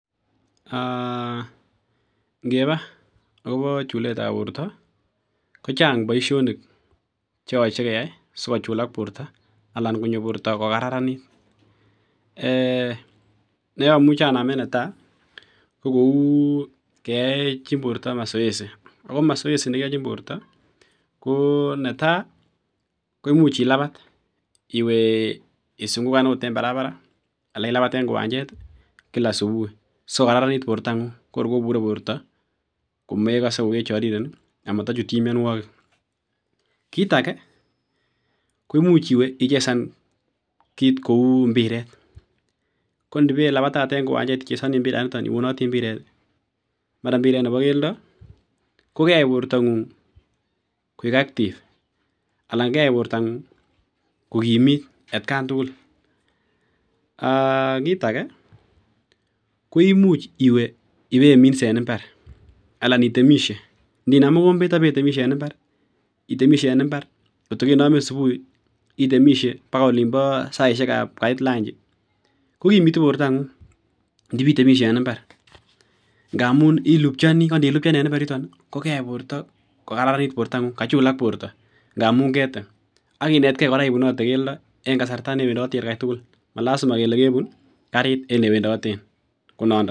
? Ngeba akobo chulet ab borta kochang Baishonik cheyache keyai sikochulak borta anan konyo borta kokararanit neamuche anamen netai kokou keyachi borta masaj AK mazoezi ako masaj Anna komasoezi nekiachin borta ko netai koimuchi ilapat anan isukukan en barabaret anan ko en kiwanjet kila subuhi sikokararanit borta ngung kor kobute borta komekase kokechariren ako matachutchin mianwagik kit age koimuchi iwe ichesan kit Kou mbiret kondiwe ilabatate en kiwanjet ichesani mbiret iwonoti mara mbiret Nebo keldo kokeyai borta ngung koik Cs active Cs anan keyai borta ngung kokimit atkai tugul AK kit age koimuchi iwe iminse en imbar anan itemishe Inam mokombet akiwe itemishe en imbar vkotokenamii subui itemishe akoiolimbo saishek ab Kait lanji kokimitu borta ngung nitemishe en imbar ngamun ilupchonik amun nilipchan enbimbar kokararanit borta ngung b akochulak borta yeketem akinetgei ibunate keldo en kasarta en olewendoti tuguk malazima kele kebun karit en yewendoten konandon